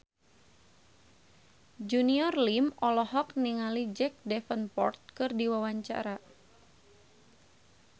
Junior Liem olohok ningali Jack Davenport keur diwawancara